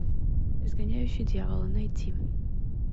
изгоняющий дьявола найти